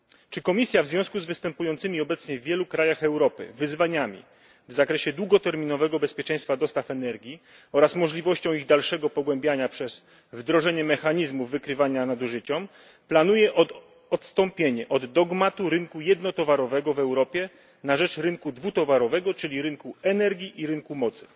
Czy Komisja w związku z występującymi obecnie w wielu krajach Europy wyzwaniami w zakresie długoterminowego bezpieczeństwa dostaw energii oraz możliwością ich dalszego pogłębiania przez wdrożenie mechanizmu wykrywania nadużyć planuje odstąpienie od dogmatu rynku jednotowarowego w Europie na rzecz rynku dwutowarowego, czyli rynku energii i rynku mocy?